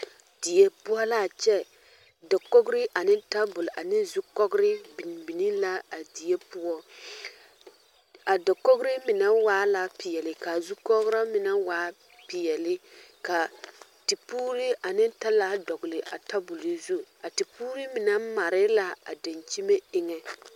Die poʊ la a kyɛ. Dakogre ane tabul ane zukɔgre bin bine la a die poʊ. A dakogre mene waa la piɛle, ka a zukɔgra mene waa piɛle. Ka tepoore ane talaa dogle a tabul zu. A te poore mene mare la a dankyeme eŋe.